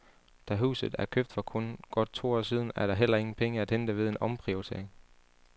Da huset er købt for kun godt to år siden, er der heller ingen penge at hente ved en omprioritering.